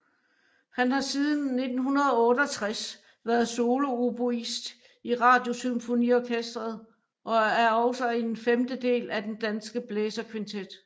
Han har siden 1968 været solooboist i Radiosymfoniorkestret og er også en femtedel af den Danske Blæserkvintet